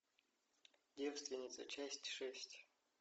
девственница часть шесть